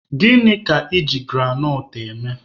Gịnị ka I ji granọt eme?